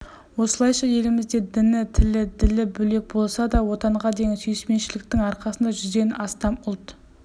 осылайша елімізде діні тілі ділі бөлек болса да отанға деген сүйіспеншіліктің арқасында жүзден астам ұлт